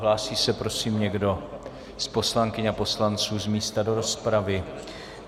Hlásí se prosím někdo z poslankyň a poslanců z místa do rozpravy?